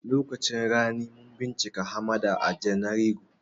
Lokacin rani mun bincika hamada a janairu